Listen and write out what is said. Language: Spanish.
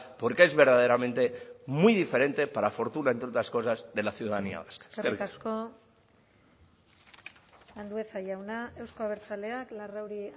porque es verdaderamente muy diferente para fortuna entre otras cosas de la ciudadanía vasca eskerrik asko eskerrik asko andueza jauna euzko abertzaleak larrauri